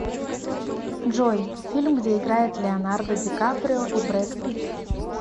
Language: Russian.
джой фильм где играет леонардо ди каприо и бред питт